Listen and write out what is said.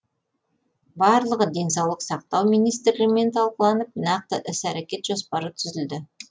барлығы денсаулық сақтау министрлігімен талқыланып нақты іс әрекет жоспары түзілді